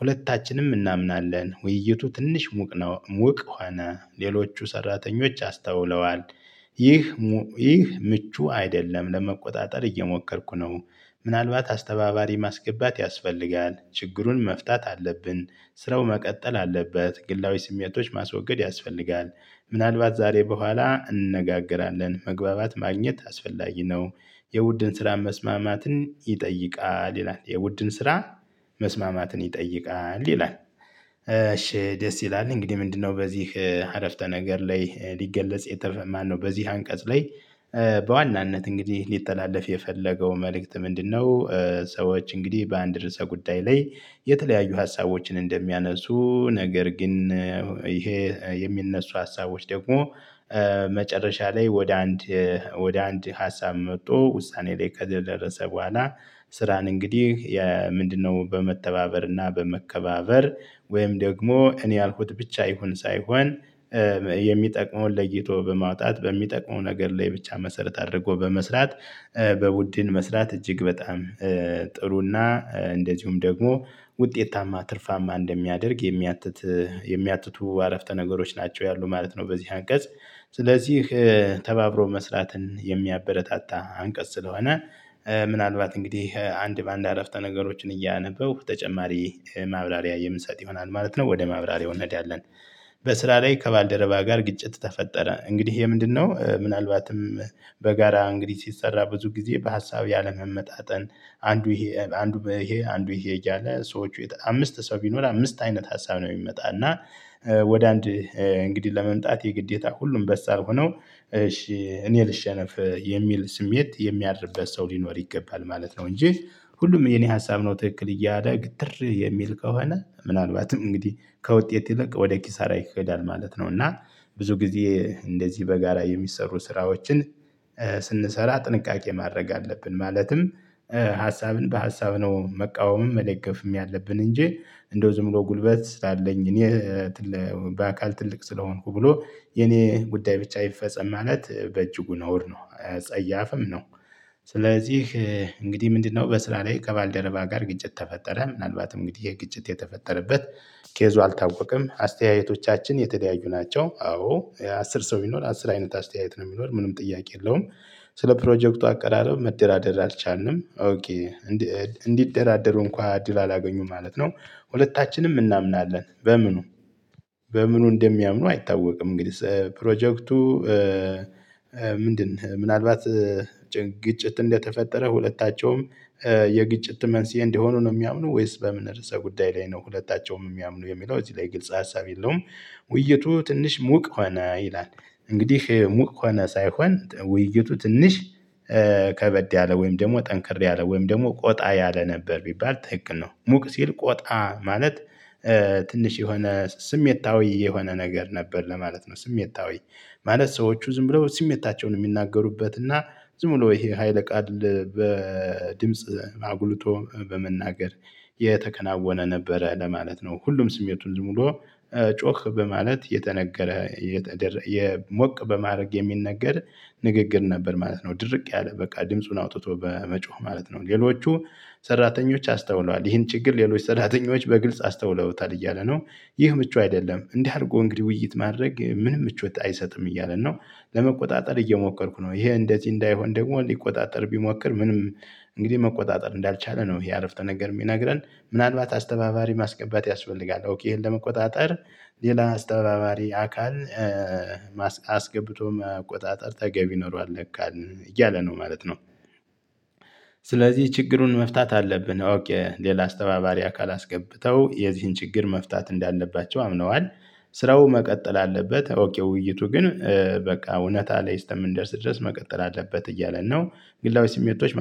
ሁለታችንም እናምናለን ውይይቱ ትንሽ ሙቅ ነው ሙቅ ሆነ ሌሎቹ ሰራተኞች አስተውለዋል። ይህ ምቹ አይደለም ለመቆጣጠር እየሞከርኩ ነው። ምናልባት አስተባባሪ ማስገባት ያስፈልጋል ችግሩን መፍታት አለብን። ስራው መቀጠል አለበት። ግላዊ ስሜቶች ማስወገድ ያስፈልጋል። ምናልባት ዛሬ በኋላ እንነጋገራለን መግባባት ማግኘት አስፈላጊ ነው። የቡድን ስራ መስማማትን ይጠይቃል ይላል የውድን ስራ መስማማትን ይጠይቃል ይላል። እሺ ደስ ይላል። እንግዲህ ምንድነው በዚህ አረፍተ ነገር ላይ ሊገለጽ የተ ማነው? በዚህ አንቀጽ ላይ በዋናነት እንግዲህ ሊተላለፍ የፈለገው መልእክት ምንድነው? ሰዎች እንግዲህ በአንድ ርዕሰ ጉዳይ ላይ የተለያዩ ሀሳቦችን እንደሚያነሱ ነገር ግን ይሄ የሚነሱ ሀሳቦች ደግሞ መጨረሻ ላይ ወደ አንድ ወደ አንድ ሀሳብ መጥቶ ውሳኔ ላይ ከተደረሰ በኋላ። ስራን እንግዲህ ምንድነው በመተባበር እና በመከባበር ወይም ደግሞ እኔ ያልኩት ብቻ ይሁን ሳይሆን የሚጠቅመውን ለይቶ በማውጣት በሚጠቅመው ነገር ላይ ብቻ መሰረት አድርጎ በመስራት። በቡድን መስራት እጅግ በጣም ጥሩና እንደዚሁም ደግሞ ውጤታማ ትርፋማ እንደሚያደርግ የሚያትት የሚያትቱ አረፍተ ነገሮች ናቸው ያሉት ማለት ነው። በዚህ አንቀጽ ስለዚህ ተባብሮ መስራትን የሚያበረታታ አንቀጽ ስለሆነ። ምናልባት እንግዲህ አንድ በአንድ አረፍተ ነገሮችን እያነበብሁ ተጨማሪ ማብራሪያ የምሰጥ ይሆናል ማለት ነው ወደ ማብራሪያው እንሄዳለን ያለን። በስራ ላይ ከባልደረባ ጋር ግጭት ተፈጠረ እንግዲህ ይሄ ምንድነው? ምናልባትም በጋራ እንግዲህ ሲሰራ ብዙ ጊዜ በሀሳብ ያለመመጣጠን አንዱ ይሄ አንዱ ይሄ አንዱ ይሄ እያለ ሰዎች አምስት ሰው ቢኖር አምስት አይነት ሀሳብ ነው የሚመጣ እና። ወደ አንድ እንግዲህ ለመምጣት የግዴታ ሁሉም በሳል ሆነው እሺ እኔ ልሸነፍ የሚል ስሜት የሚያድርበት ሰው ሊኖር ይገባል ማለት ነው። እንጂ ሁሉም የኔ ሀሳብ ነው ትክክል እያደ ግትር የሚል ከሆነ ምናልባትም እንግዲህ ከውጤት ይልቅ ወደ ኪሳራ ይሄዳል ማለት ነው። እና ብዙ ጊዜ እንደዚህ በጋራ የሚሰሩ ስራዎችን ስንሰራ ጥንቃቄ ማድረግ አለብን። ማለትም ሀሳብን በሀሳብ ነው መቃወምም መደገፍም ያለብን እንጂ እንደው ዝም ብሎ ጉልበት ስላለኝ እኔ። በአካል ትልቅ ስለሆንኩ ብሎ የኔ ጉዳይ ብቻ አይፈጸም ማለት በእጅጉ ነውር ነው አጸያፍም ነው። ስለዚህ እንግዲህ ምንድነው? በስራ ላይ ከባልደረባ ጋር ግጭት ተፈጠረ ምናልባት እንግዲህ የግጭት የተፈጠረበት ኬዙ አልታወቀም አስተያየቶቻችን የተለያዩ ናቸው። አዎ አስር ሰው ቢኖር አስር አይነት አስተያየት ነው የሚኖር ምንም ጥያቄ የለውም። ስለ ፕሮጀክቱ አቀራረብ መደራደር አልቻልንም። እንዲደራደሩ እንኳን እድል አላገኙም ማለት ነው። ሁለታችንም እናምናለን በምኑ በምኑ እንደሚያምኑ አይታወቅም። እንግዲህ ፕሮጀክቱ ምንድን ምናልባት ግጭት እንደተፈጠረ ሁለታቸውም የግጭት መንስኤ እንደሆኑ ነው። የሚያምኑ ወይስ በምን ርዕሰ ጉዳይ ላይ ነው ሁለታቸውም የሚያምኑ የሚለው እዚህ ላይ ግልጽ ሀሳብ የለውም። ውይይቱ ትንሽ ሙቅ ሆነ ይላል። እንግዲህ ሙቅ ሆነ ሳይሆን ውይይቱ ትንሽ ከበድ ያለ ወይም ደግሞ ጠንከር ያለ ወይም ደግሞ ቆጣ ያለ ነበር ቢባል ትክክል ነው። ሙቅ ሲል ቆጣ ማለት ትንሽ የሆነ ስሜታዊ የሆነ ነገር ነበር ለማለት ነው። ስሜታዊ ማለት ሰዎቹ ዝም ብለው ስሜታቸውን የሚናገሩበት እና ዝም ብሎ ይሄ ሀይለ ቃል በድምጽ አጉልቶ በመናገር የተከናወነ ነበረ ለማለት ነው። ሁሉም ስሜቱን ዝም ብሎ ጮህ በማለት የተነገረ የሞቅ በማድረግ የሚነገር ንግግር ነበር ማለት ነው። ድርቅ ያለ በቃ ድምጹን አውጥቶ በመጮህ ማለት ነው። ሌሎቹ ሰራተኞች አስተውለዋል ይህን ችግር ሌሎች ሰራተኞች በግልጽ አስተውለውታል እያለ ነው። ይህ ምቹ አይደለም እንዲህ አድርጎ እንግዲህ ውይይት ማድረግ ምንም ምቾት አይሰጥም እያለ ነው። ለመቆጣጠር እየሞከርኩ ነው። ይሄ እንደዚህ እንዳይሆን ደግሞ ሊቆጣጠር ቢሞክር ምንም እንግዲህ መቆጣጠር እንዳልቻለ ነው። ይሄ አረፍተ ነገር የሚነግረን። ምናልባት አስተባባሪ ማስገባት ያስፈልጋል ኦኬ ይሄን ለመቆጣጠር ሌላ አስተባባሪ አካል አስገብቶ መቆጣጠር ተገቢ ኖሯል ለካን እያለ ነው ማለት ነው። ስለዚህ ችግሩን መፍታት አለብን። ኦኬ ሌላ አስተባባሪ አካል አስገብተው የዚህን ችግር መፍታት እንዳለባቸው አምነዋል። ስራው መቀጠል አለበት። ኦኬ ውይይቱ ግን ብዙ ጊዜ እንደዚህ በጋራ የሚሰሩ ስራዎችን ስንሰራ ጥንቃቄ ማድረግ አለብን ማለትም ሀሳብን በሀሳብ ነው መቃወምም መደገፍም ያለብን እንጂ እንደው ዝም ብሎ ጉልበት ስላለኝ እኔ